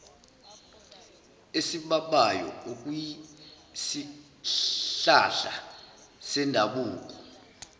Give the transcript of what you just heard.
esibabayo okuyisihlahla sendabuko